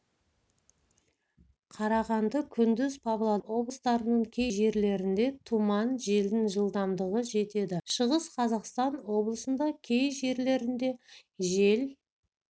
қарағанды күндіз павлодар облыстарының кей жерлерінде тұман желдің жылдамдығы жетеді шығыс қазақстан облысында кей жерлерінде жел